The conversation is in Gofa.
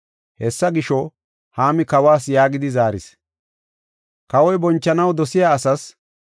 Hessa gisho, Haami kawas yaagidi zaaris; “Kawoy bonchanaw dosiya asaas,